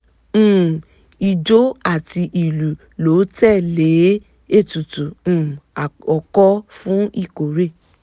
um ijó àti ìlù ló tẹ̀lé ètùtù um àkọkọ fún ìkórè